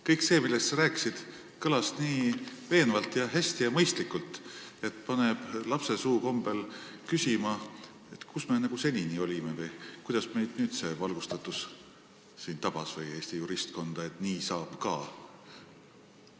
Kõik see, millest sa rääkisid, kõlas nii veenvalt ja hästi ja mõistlikult, et paneb lapsesuu kombel küsima, kus me senini olime või kuidas meid või Eesti juristkonda alles nüüd see valgustatus tabas, et nii saab ka.